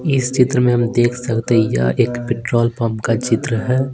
इस चित्र में हम देख सकते हैंयह एक पेट्रोल पंप का चित्र है।